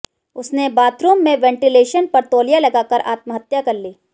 उसने बाथरूम में वेंटीलेशन पर तौलिया लगाकर आत्महत्या कर ली